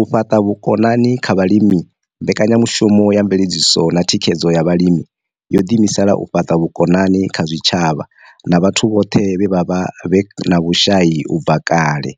U fhaṱa vhukoni kha vhalimi Mbekanyamushumo ya Mveledziso na Thikhedzo ya Vhalimi yo ḓiimisela u fhaṱa vhukoni kha zwitshavha na vhathu vhone vhaṋe vhe vha vha vhe na vhushai u bva kale,